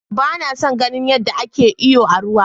Ba na son ganin yadda ake iyo a ruwa.